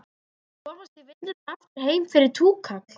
Viltu komast í vinnuna og aftur heim fyrir túkall?